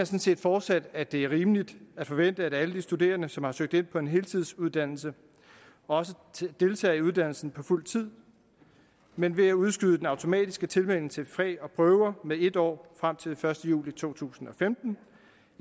set fortsat at det er rimeligt at forvente at alle de studerende som har søgt ind på en heltidsuddannelse også deltager i uddannelsen på fuld tid men ved at udskyde den automatiske tilmelding til fag og prøver med en år frem til den første juli to tusind